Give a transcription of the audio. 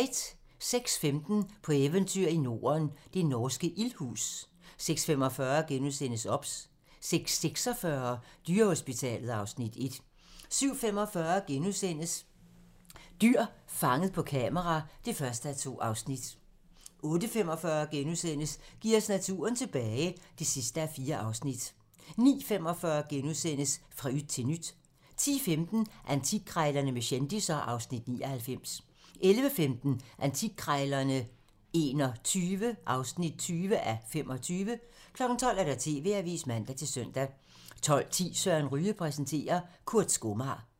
06:15: På eventyr i Norden – det norske ildhus 06:45: OBS * 06:46: Dyrehospitalet (Afs. 1) 07:45: Dyr fanget på kamera (1:2)* 08:45: Giv os naturen tilbage (4:4)* 09:45: Fra yt til nyt * 10:15: Antikkrejlerne med kendisser (Afs. 99) 11:15: Antikkrejlerne XXI (20:25) 12:00: TV-avisen (man-søn) 12:10: Søren Ryge præsenterer - Kurt skomager